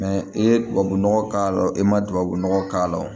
i ye tubabu nɔgɔ k'a la e ma tubabunɔgɔ k'a la wo